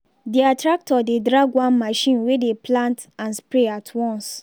their tractor dey drag one machine wey dey plant and spray at once.